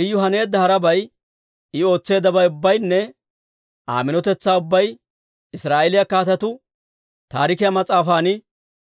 Iyu haneedda harabay, I ootseeddabay ubbaynne Aa minotetsaa ubbay Israa'eeliyaa Kaatetuu Taarikiyaa mas'aafan